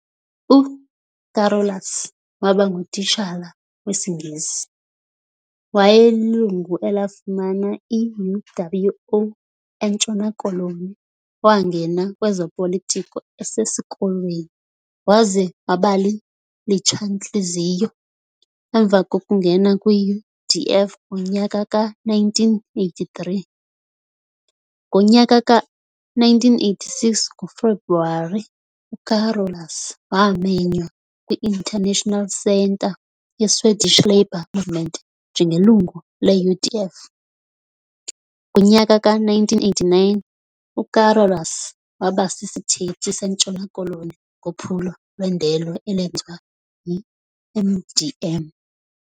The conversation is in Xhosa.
UCarolus wabangu titshala wesiNgesi. Wayelilungu elafumana iUWO eNtshona koloni Waangena kwezopolitiko esesikolweni waze wabali litshantliziyo emva kokungena kwiUDF ngonyaka ka-1983.Ngonyaka ka-1986 ngoFebruwari uCarolus wamenywa kwiInternational Centre yeSwedish Labour Movement njengelungu leUDF.Ngonyaka ka-1989,uCarolus wabasisithethi seNtshona koloni ngophulo lwendelo elenziwa yiMDM.